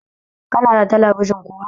Kana da talabijin kuwa?